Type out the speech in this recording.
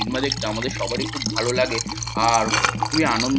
cinema দেখতে আমাদের সবারই খুব ভালো লাগে আর খুবই আনন্দ--